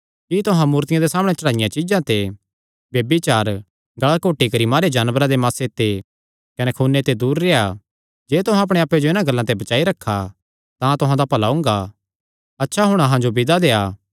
कि तुहां मूर्तियां दे सामणै चढ़ाईयां चीज्जां ते ब्यभिचार गल़ा घोटी करी मारेयो जानवरां दे मासे ते कने खूने ते दूर रेह्आ जे तुहां अपणे आप्पे जो इन्हां गल्लां ते बचाई रखा तां तुहां दा भला हुंगा अच्छा हुण अहां जो विदा करा